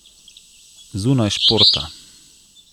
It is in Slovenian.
Zunaj športa.